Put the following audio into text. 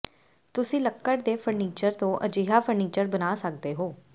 ਤੁਸੀਂ ਲੱਕੜ ਦੇ ਫਰਨੀਚਰ ਤੋਂ ਅਜਿਹਾ ਫਰਨੀਚਰ ਬਣਾ ਸਕਦੇ ਹੋ